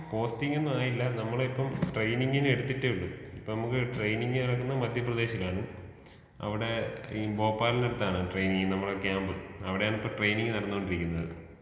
പോസ്റ്റിങ്ങൊന്നുമായില്ല നമ്മളെ ഇപ്പോ ട്രൈനിങ്ങിന് എടുത്തിട്ടേ ഒള്ളൂ ഇപ്പോ നമുക്ക് ട്രെയിനിങ് നടക്കുന്നത് മധ്യപ്രദേശിലാണ് അവിടെ ഈ ഭോപ്പാലിനടുത്താണ് ട്രെയിനിങ് നമ്മുടെ ക്യാമ്പ് അവിടെയാണ് ഇപ്പോ ട്രെയിനിങ് നടന്നോണ്ടിരിക്കുന്നത്.